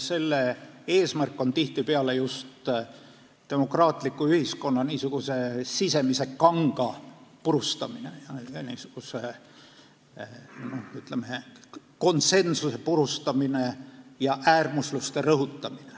Selle eesmärk on tihtipeale just demokraatliku ühiskonna n-ö sisemise kanga purustamine, ütleme, konsensuse purustamine ja äärmusluste rõhutamine.